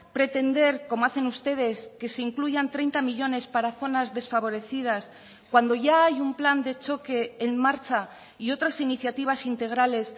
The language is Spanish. pretender como hacen ustedes que se incluyan treinta millónes para zonas desfavorecidas cuando ya hay un plan de choque en marcha y otras iniciativas integrales